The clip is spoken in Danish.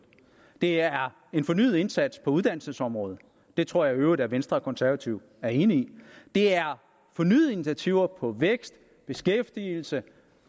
det er en fornyet indsats på uddannelsesområdet det tror jeg i øvrigt at venstre og konservative er enige i det er fornyede initiativer på vækst beskæftigelse